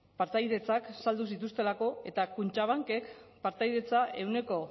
partaidetzak saldu zituztelako eta kutxabankek partaidetza ehuneko